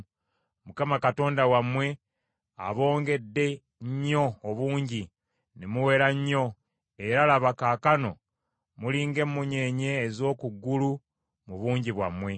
Mukama Katonda wammwe abongedde nnyo obungi, ne muwera nnyo; era, laba, kaakano muli ng’emmunyeenye ez’oku ggulu mu bungi bwammwe.